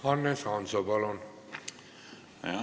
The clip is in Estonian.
Hannes Hanso, palun!